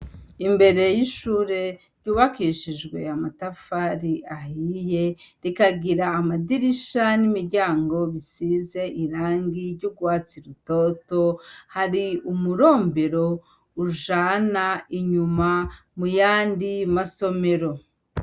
Imbere y' ishure ryubakishijwe amatafari ahiye, rikagira amadirisha n'imiryango bisize irangi ryugwatsi rutoto hari umurombero ujana inyuma muyandi masomero.